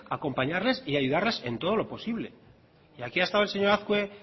acompañarles y ayudarles en todo lo posible y aquí ha estado el señor azkue